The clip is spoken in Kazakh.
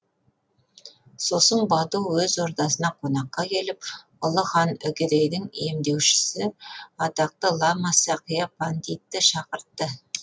сосын бату өз ордасына қонаққа келіп жатқан ұлы хан үгедейдің емдеушісі атақты лама сақия пандитты шақыртты